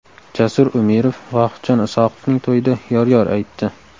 Jasur Umirov Vohidjon Isoqovning to‘yida yor-yor aytdi.